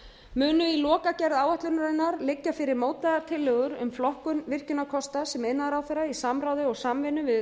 munu í lokagerð áætlunarinnar liggja fyrir mótaðar tilhögun um flokkun virkjunarkosta sem iðnaðarráðherra í samráði og samvinnu við